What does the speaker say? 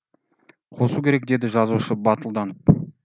қосу керек деді жазушы батылданып